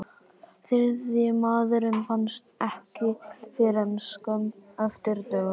Þriðji maðurinn fannst ekki fyrr en skömmu eftir dögun.